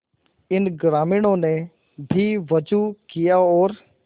इन ग्रामीणों ने भी वजू किया और